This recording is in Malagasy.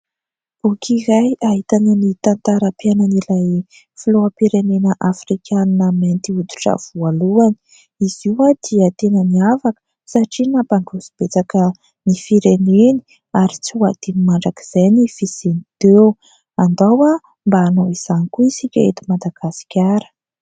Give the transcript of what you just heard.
Boky iray ahitana ny tantaram-piainan'ilay filoham-pirenena afrikanina mainty hoditra voalohany. Izy io dia tena miavaka satria nampandroso betsaka ny fireneny ary tsy ho adino mandrakizay ny fisiany teo. Andao mba hanao izany koa isika eto Madagasikara.